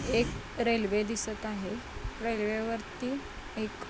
एक रेल्वे दिसत आहे रेल्वे वरती एक--